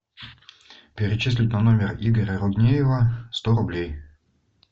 перечислить на номер игоря руднеева сто рублей